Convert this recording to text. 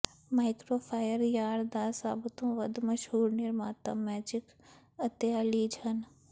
ਮਾਈਕਰੋਫਾਇਅਰ yarn ਦਾ ਸਭ ਤੋਂ ਵੱਧ ਮਸ਼ਹੂਰ ਨਿਰਮਾਤਾ ਮੈਜਿਕ ਅਤੇ ਆਲੀਜ ਹਨ